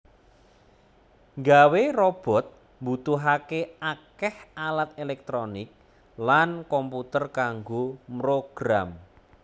Nggawé robot mbutuhaké akéh alat éléktronik lan komputer kanggo mrogram